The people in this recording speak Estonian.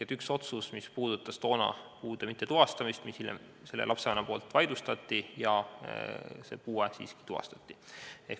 Oli üks otsus, mis puudutas toona puude tuvastamata jätmist ja mille lapsevanem hiljem vaidlustas, nii et puue siiski tuvastati.